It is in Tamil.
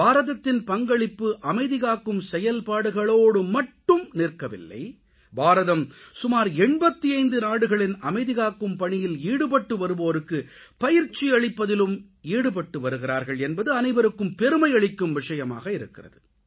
பாரதத்தின் பங்களிப்பு அமைதி காக்கும் செயல்பாடுகளோடு மட்டும் நிற்கவில்லை பாரதம் சுமார் 85 நாடுகளின் அமைதி காக்கும் பணியில் ஈடுபட்டு வருவோருக்கு பயிற்சி அளிப்பதிலும் ஈடுபட்டு வருகிறார்கள் என்பது அனைவருக்கும் பெருமை அளிக்கும் விஷயமாக இருக்கிறது